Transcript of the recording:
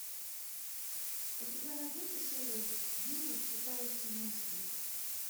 у тебя найдется серия девять читающий мысли